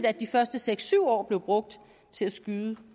at de første seks syv år blev brugt til at skyde